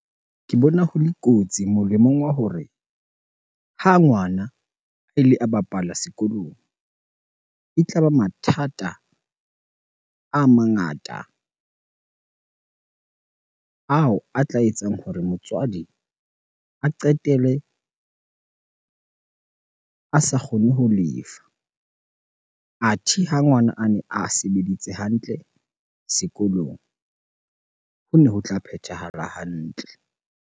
Ke bona ho le kotsi molemong wa hore ha ngwana a ile a bapala sekolong. E tla ba mathata a mangata ao a tla etsang hore motswadi a qetelle a sa kgone ho lefa. Athe ha ngwana a ne a sebeditse hantle sekolong, ho ne ho tla phethahala hantle.